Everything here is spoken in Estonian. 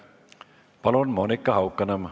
Palun, Monika Haukanõmm!